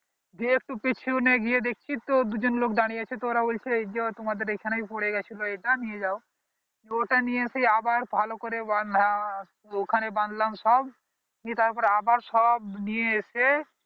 দিয়ে একটু পিছনে গিয়ে দেখছি তো দু জন লোক দাঁড়িয়ে আছে তো ওরা বলছে এই যে তোমাদের এইখানে পরে গেছিলো এইটা নিয়ে যাও ওটা নিয়ে এসে আবার ভালো করে বাঁধা ওখানে বাঁধলাম সব নিয়ে তার সব আবার নিয়ে এসে